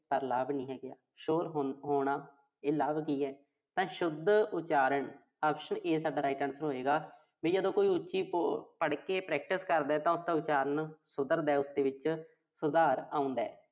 ਪਰ ਲਾਭ ਨੀਂ ਹੈਗਾ। ਸ਼ੋਰ ਹੋਣਾ, ਇਹ ਵੀ ਲਾਭ ਨੀਂ ਹੈਗਾ। ਤਾਂ ਸ਼ੁੱਧ ਉਚਾਰਨ, option A ਸਾਡਾ right answer ਹੋਏਗਾ। ਠੀਕਾ ਜਦੋਂ ਕੋਈ ਉੱਚੀ ਪ ਅਹ ਪੜ੍ਹ ਕੇ practice ਕਰਦਾ ਤਾਂ ਉਸਦਾ ਉਚਾਰਨ ਸੁਧਰਦਾ, ਉਸਦੇ ਵਿੱਚ ਸੁਧਾਰ ਆਉਂਦਾ।